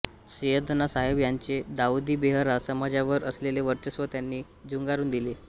सैय्यदना साहेब यांचे दाउदी बोहरा समाजावर असलेले वर्चस्व त्यांनी झुगारून दिले